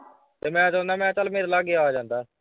ਤੇ ਮੈਂ ਸੋਚਦਾ ਮੈਂ ਚੱਲ ਮੇਰੇ ਲਾਗੇ ਆ ਜਾਂਦਾ।